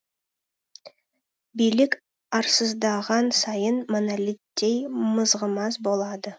билік арсызданған сайын монолиттей мызғымас болады